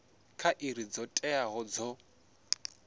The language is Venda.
kha iri dzo teaho dzo